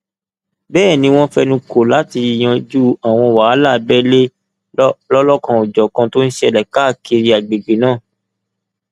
bẹẹ ni wọn fẹnu kọ láti yanjú àwọn wàhálà abẹlé lọlọkanòjọkan tó ń ṣẹlẹ káàkiri agbègbè náà